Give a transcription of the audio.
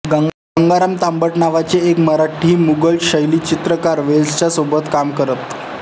गंगाराम तांबट नावाचे एक मराठी मुघल शैली चित्रकार वेल्सच्या सोबत काम करत